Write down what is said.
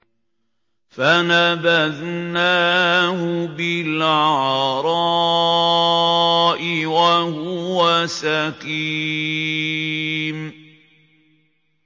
۞ فَنَبَذْنَاهُ بِالْعَرَاءِ وَهُوَ سَقِيمٌ